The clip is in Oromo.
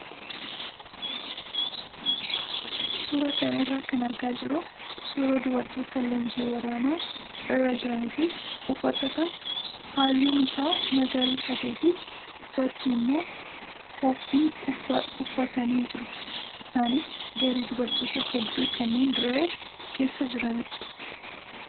Suuraa kana irraa kan argaa jirru suuraa dubartoota leenjii waraanaa irra jiranii fi uffata kan halluun isaa magariisa ta'ee fi gubbaatti immoo qoobii uffatanii jiru. Isaanis garee dubartoota hedduu kanneen dirree keessa jiranidha.